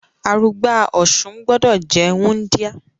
Arugba Ọ̀sun gbọ́dọ̀ jẹ́ wúndíá.